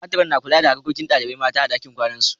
Matron' na kula da harkokin dalibain mata a'ɗakin kwanan su.